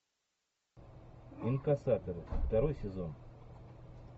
инкассаторы второй сезон